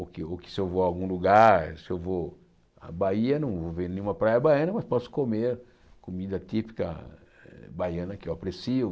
Ou que ou que se eu vou a algum lugar, se eu vou à Bahia, não vou ver nenhuma praia baiana, mas posso comer comida típica baiana que eu aprecio.